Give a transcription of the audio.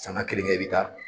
Sanga kelen kɛ i bɛ taa.